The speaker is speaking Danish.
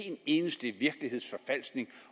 eneste virkelighedsforfalskning